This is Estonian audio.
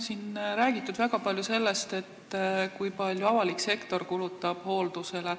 Siin on väga palju räägitud sellest, kui palju avalik sektor kulutab hooldusele.